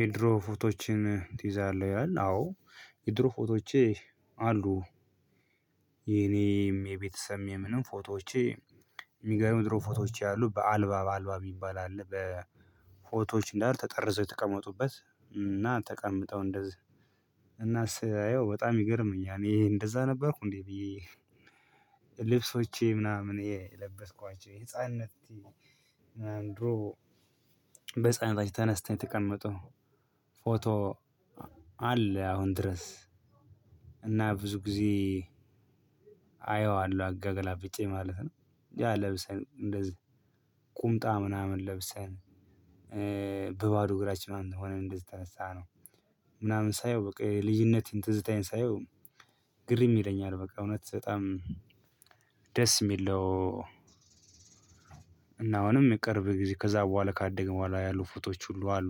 የድሮ ፎቶዎችን ትይዛለህ ይላል? አዎ የድሮ ፎቶዎቼ አሉ። የኔም የቤተሰቤም የምንም ፎቶዎቼ። እሚገርምህ ድሮ ፎቶዎቼ አሉ አልበም አልበም የሚባል አለ በፎቶዎች እንዳለ ተጠርዘው የተቀመጡበት እና ተቀምጠው እንደዚህ እና ሳየው በጣም ይገርመኛል እኔ እንደዛ ነበርኩ እንዴ ብዬ። ልብሶቼ ምናምን የለበስኳቸው ህፃንነት። ድሮ በህፃንነታችን ተነስተን የተቀመጡ ፎቶ አለ አሁን ድረስ። እና ብዙ ጊዜ አየዋለሁ አገላብጨ ማለት ነው። ያ ለብሰን እንደዚህ ቁምጣ ምናምን ለብሰን በባዶ እግራችን ምንም ሆነን እንደዚህ የተነሳነው። ምናምን ሳየው በቃ የልጂነት ትዝታዬን ሳየው ግርም ይለኛል በቃ እውነት በጣም ደስ የሚል የሚለው። እና አሁንም ቅርብ ጊዜ ከዛ በኋላ ካደግንበኋላ ያሉ ፎቶዎች ሁሉ አሉ።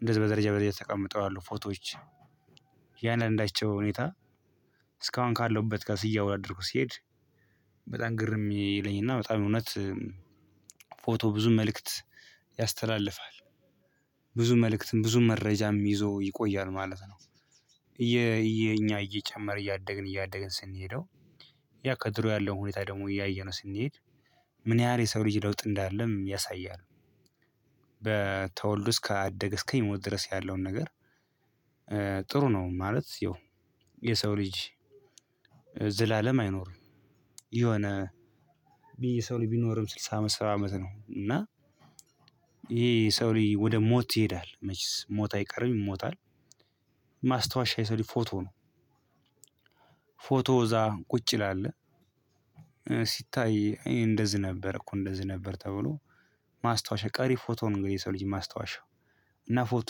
እንደዚህ በደረጃ በደረጃ ተቀምጠው አሉ ፎቶዎች። የእያንዳንዳቸው ሁኔታ እስካሁን ካለሁበት ጋር እያወዳድርኩ ሲሄድ። በጣም ግርም ይለኝ እና በጣም እውነት ፎቶ ብዙ መልእክት ያስተላልፋል። ብዙ መልእክትም ብዙ መረጃም ይዞ ይቆያል ማለት ነው። የእኛ እየጨመረ እያደግን እያደግን ስንሄደው። ያ ከድሮ ያለው ሁኔታ ደግሞ እያየነው ስንሄድ ምን ያህል የሰው ልጅ ለውጥ እንዳለም ያሳያል። በተወልዶ እስካደገ እስከሚሞት ድረስ ያለውን ነገር ጥሩ ነው። ማለት ያው የሰው ልጅ ዘላለም አይኖርም። የሆነ የሰው ልጂ ቢኖርም ስልሳ አመት ሰባ አመት ነው። እና ይሄ የሰው ልጂ ወደ ሞት ይሄዳል መቼስ ሞት አይቀርም ይሞታል። ማስታወሻ የሰውልጂ ፎቶ ነው። ፎቶ እዛ ቁጭ ይላል። ሲታይ እንደዚህ ነበር እኮ እንደዚህ ነበር ተብሎ ማስታወሻ ቀሪ ፎቶው ነው። እንግዲህ የሰው ልጅ ማስታወሻ እና ፎቶ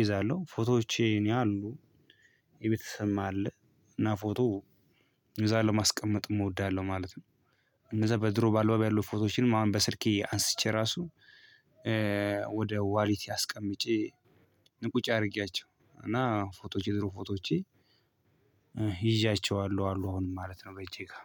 እይዛለሁ ፎቶዎቼ እኔ አሉ። የቤተሰብም አለ እና ፎቶ እይዛለሁ ማስቀመጥም እወዳለሁ ማለት ነው። እነዛ በድሮ በአልበም ያሉ ፎቶዎችንም አሁን በስልኬ አንስቼ ራሱ ወደ ዋሊቴ አስቀምጨ ቁጭ አድርጌያቸው እና ፎቶዎቼ የድሮ ፎቶዎቼ። ይዣቸዋለሁ አሉ አሁንም ማለት ነው በእጄ ጋር